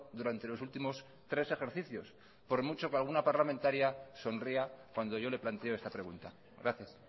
durante los últimos tres ejercicios por mucho que alguna parlamentaria sonría cuando yo le planteo esta pregunta gracias